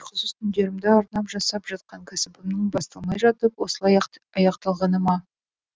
ұйқысыз түндерімді арнап жасап жатқан кәсібімнің басталмай жатып осылай аяқталғаны ма